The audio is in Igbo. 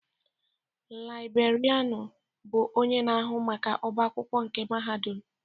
Laibrerịanu bụ onye na-ahụ maka ọbá akwụkwọ nke mahadum.